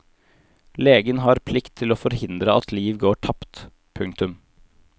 Legen har plikt til å forhindre at liv går tapt. punktum